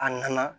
A nana